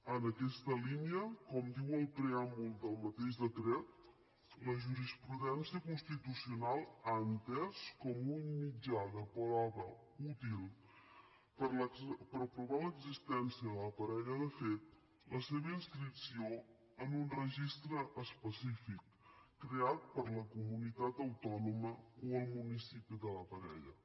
en aquesta línia com diu el preàmbul del mateix decret la jurisprudència constitucional ha entès com un mitjà de prova útil per provar l’existència de la parella de fet la seva inscripció en un registre específic creat per la comunitat autònoma o el municipi de la parella